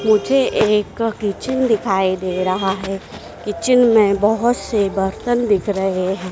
मुझे एक किचन दिखाई दे रहा है किचन में बहोत से बर्तन दिख रहे है।